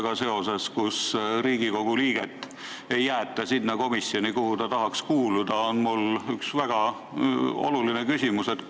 Mis saab siis, kui Riigikogu liiget ei jäeta sinna komisjoni, kuhu ta tahaks kuuluda?